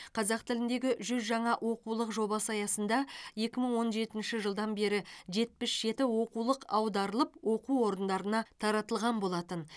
қазақ тіліндегі жүз жаңа оқулық жобасы аясында екі мың жетінші жылдан бері жетпіс жеті оқулық аударылып оқу орындарына таратылған болатын